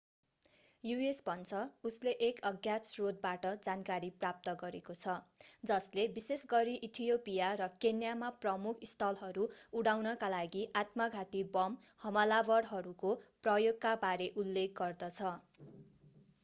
US. भन्छ उसले एक अज्ञात स्रोतबाट जानकारी प्राप्त गरेको छ जसले विशेषगरी इथियोपिया र केन्या मा प्रमुख स्थलहरू” उडाउनका लागि आत्मघाती बम हमलावरहरूको प्रयोगका बारे उल्लेख गर्दछ।